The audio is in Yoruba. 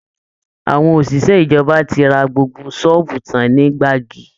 Àwọn òṣìṣẹ́ ìjọba ti ra gbogbo ṣọ́ọ̀bù tán ní Gbági